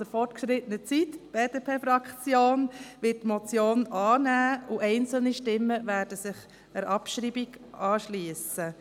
Die BDP-Fraktion wird die Motion annehmen, und einzelne Stimmen werden sich der Abschreibung anschliessen.